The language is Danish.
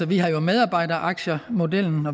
vi har jo medarbejderaktiemodellen